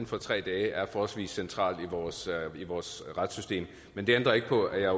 for tre dage er forholdsvis central i vores retssystem men det ændrer ikke på at jeg